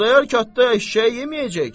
Xudayar Katda eşşəyi yeməyəcək ki.